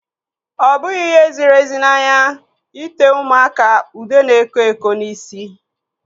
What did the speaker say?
Ọ bụghị ihe ziri ezi n'anya ite ụmụaka ude na-eko eko n'isi.